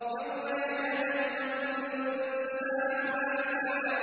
يَوْمَ يَتَذَكَّرُ الْإِنسَانُ مَا سَعَىٰ